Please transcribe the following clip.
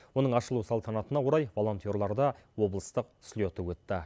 оның ашылу салтанатына орай волонтерларда облыстық слеті өтті